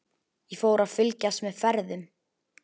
Ég fór að fylgjast með ferðum